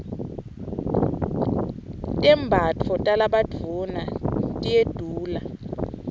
tembatfo talabadvuna hyedula